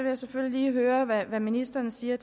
jeg selvfølgelig lige høre hvad ministeren siger